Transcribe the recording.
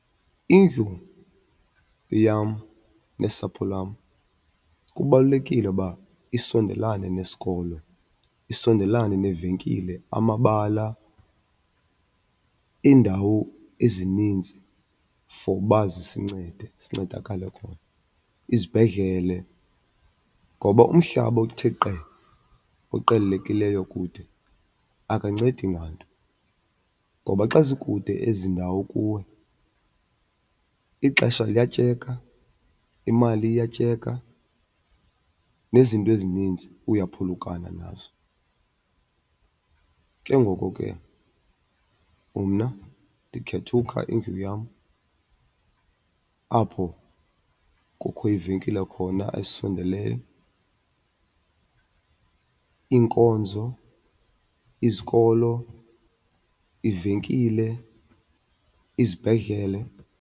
Indlu yam nesapho lwam kubalulekile uba isondelane nesikolo, isondelane neevenkile, amabala, iindawo ezinintsi for uba zisincede sincedakale khona, izibhedlele. Ngoba umhlaba othe qe oqelelekileyo kude akancedi nganto. Ngoba xa zikude ezi ndawo kuwe ixesha liyatyeka, imali iyatyeka, nezinto ezininzi uyaphulukana nazo. Ke ngoko ke mna ndikhetha ukha indlu yam apho kukho iivenkile khona ezisondeleyo, iinkonzo, izikolo, iivenkile, izibhedlele.